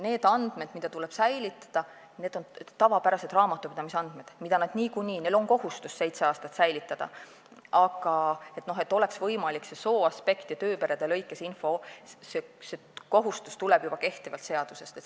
Need andmed, mida tuleb säilitada, on tavapärased raamatupidamisandmed, mida neil niikuinii on kohustus seitse aastat säilitada, see kohustus, et oleks võimalik saada infot sooaspekti alusel ja tööperede kaupa, tuleneb juba kehtivast seadusest.